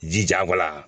Jijabɔ la